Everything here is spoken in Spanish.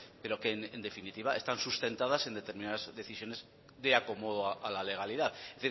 pero que en definitiva están sustentadas en determinadas decisiones de acomodo a la legalidad es